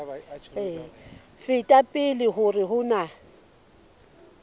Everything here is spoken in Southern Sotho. feta pele hore ho na